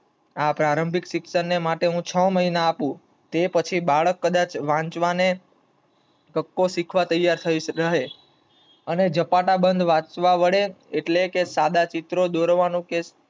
આ પ્રારંભિક શિક્ષમ ને છ મહિના આપું તે પછી બાળક કદાચ વાંચવાને કક્કો શીખવા તૈયાર થઇ જાય. જપાટાબન્ધ વાંચવા પડે, એટલે કે સદા ચીત્રો દોરવાનું કે શીખવા તૈયર થાય.